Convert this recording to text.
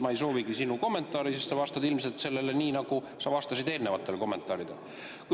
Ma ei soovigi sinu kommentaari, sest sa vastad sellele nii, nagu sa vastasid eelnevatele kommentaaridele.